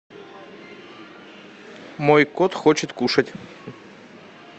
мой кот хочет кушать